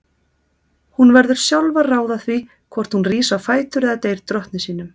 Hún verður sjálf að ráða því hvort hún rís á fætur eða deyr drottni sínum.